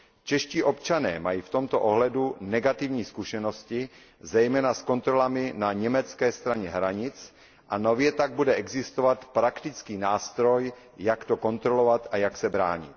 Čeští občané mají v tomto ohledu negativní zkušenosti, zejména s kontrolami na německé straně hranic a nově tak bude existovat praktický nástroj jak to kontrolovat a jak se bránit.